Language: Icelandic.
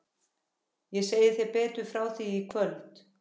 Ég segi þér betur frá því í kvöld.